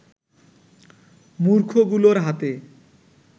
মূর্খগুলোর হাতে